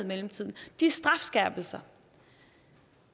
mellemtiden og de strafskærpelser